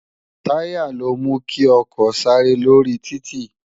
Tàyá ló mú ki òkò sàré lórí tìtí